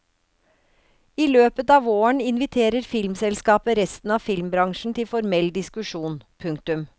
I løpet av våren inviterer filmselskapet resten av filmbransjen til formell diskusjon. punktum